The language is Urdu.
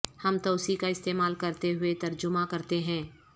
ہم توسیع کا استعمال کرتے ہوئے ترجمہ کرتے ہیں